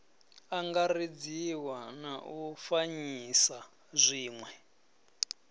angaredziwa na u fanyisa zwiwe